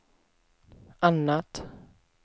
annat